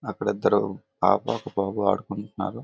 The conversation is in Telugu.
అక్కడ ఇద్దరూ ఒక పాప బాబు ఆడుకుంటున్నారు.